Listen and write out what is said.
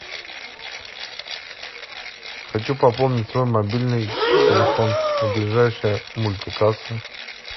хочу пополнить свой мобильный телефон ближайшая мультикасса